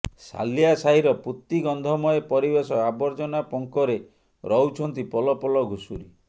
ସାଲିଆ ସାହିର ପୂତିଗନ୍ଧମୟ ପରିବେଶ ଆବର୍ଜନା ପଙ୍କରେ ରହୁଛନ୍ତି ପଲ ପଲ ଘୁଷୁରି